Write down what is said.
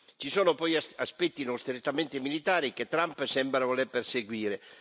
Ci sono poi aspetti non strettamente militari che Trump sembra voler perseguire.